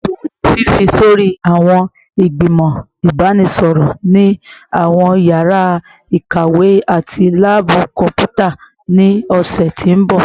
Ṣeto fun fifi sori awọn igbimọ ibanisọrọ ni awọn yara ikawe ati laabu kọnputa ni ọsẹ ti n bọ